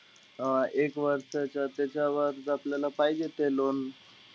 अं एक वर्षाचं, त्याच्यावर आपल्याला पाहिजे ते loan.